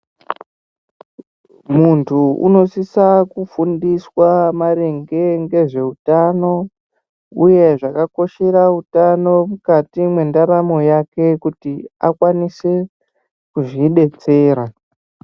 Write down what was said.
Muntu unosisa kufundiswa maringe ngezveutano, uye zvakakoshera utano mukati mwendaramo yake, kuti akwanise kuzvidetsera.